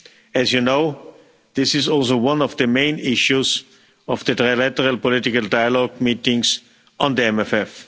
As you know, this is also one of the main issues of the trilateral political dialogue meetings on the MFF.